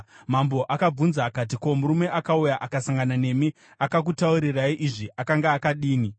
Mambo akavabvunza akati, “Ko, murume akauya akasangana nemi akakutaurirai izvi akanga akadini?”